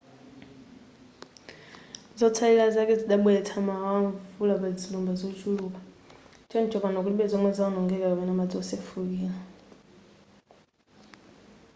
zotsalira zake zidabweretsa mawawa amvula pazilumba zochuluka choncho pano kulibe zomwe zawonongeka kapena madzi wosefukira